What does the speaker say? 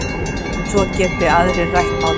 Svo geti aðrir rætt málin.